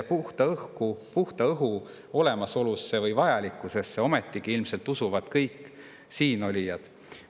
Puhta õhu vajalikkusesse ometigi ilmselt usuvad kõik siinolijad.